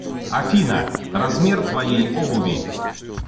афина размер твоей обуви